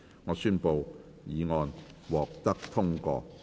我宣布議案獲得通過。